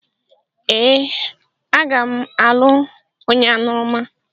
Ee, aga m alụ onye aṅụrụma.